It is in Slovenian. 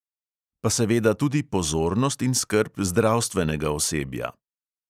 Pa seveda tudi pozornost in skrb zdravstvenega osebja.